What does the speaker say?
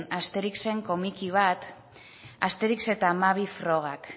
asterixen komiki bat asterix eta hamabi frogak